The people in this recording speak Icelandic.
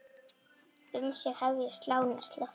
Um sig hefja slánar slátt.